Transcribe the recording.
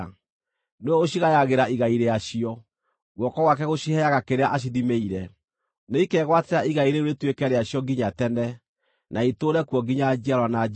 Nĩwe ũcigayagĩra igai rĩacio; guoko gwake gũciheaga kĩrĩa acithimĩire. Nĩikegwatĩra igai rĩu rĩtuĩke rĩacio nginya tene, na itũũre kuo nginya njiarwa na njiarwa.